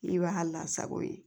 I b'a lasago yen